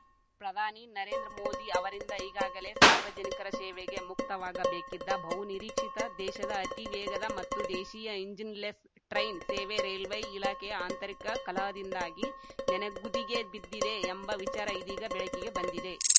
ಪ್ರಧಾನಿ ನರೇಂದ್ರ ಮೋದಿ ಅವರಿಂದ ಈಗಾಗಲೇ ಸಾರ್ವಜನಿಕರ ಸೇವೆಗೆ ಮುಕ್ತವಾಗಬೇಕಿದ್ದ ಬಹು ನಿರೀಕ್ಷಿತ ದೇಶದ ಅತಿ ವೇಗದ ಮತ್ತು ದೇಶೀಯ ಇಂಜಿನ್‌ಲೆಸ್‌ ಟ್ರೈನ್‌ ಸೇವೆ ರೈಲ್ವೆ ಇಲಾಖೆಯ ಆಂತರಿಕ ಕಲಹದಿಂದಾಗಿ ನೆನೆಗುದಿಗೆ ಬಿದ್ದಿದೆ ಎಂಬ ವಿಚಾರ ಇದೀಗ ಬೆಳಕಿಗೆ ಬಂದಿದೆ